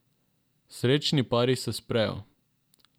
Srečni pari se sprejo.